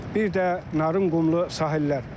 Bir də Narınqumlu sahillər.